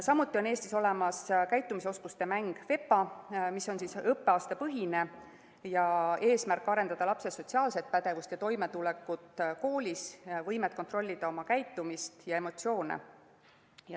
Samuti on Eestis olemas käitumisoskuste mäng VEPA, mis on õppeaastapõhine ning selle eesmärk on arendada lapse sotsiaalset pädevust ja toimetulekut koolis, võimet kontrollida oma käitumist ja emotsioone.